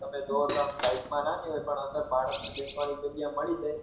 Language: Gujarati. તમે જોવો તો આમ size માં નાની હોય પણ અંદર બાળક ને બેસવાની જગ્યા મળી જાય